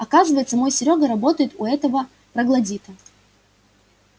оказывается мой серёга работает у этого троглодита